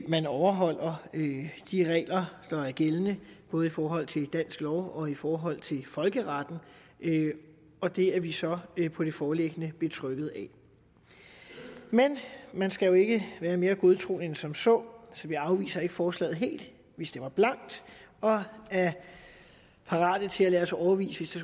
man overholder de regler der er gældende både i forhold til dansk lov og i forhold til folkeretten og det er vi så på det foreliggende grundlag betrygget af men man skal jo ikke være mere godtroende end som så så vi afviser ikke forslaget helt vi stemmer blankt og er parate til at lade os overbevise